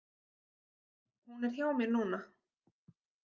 Hún er hjá mér núna.